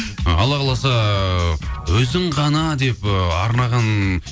ы алла қаласа өзің ғана деп ы арнаған